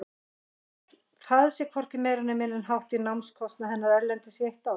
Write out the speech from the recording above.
Það sé hvorki meira né minna en hátt í námskostnað hennar erlendis í eitt ár.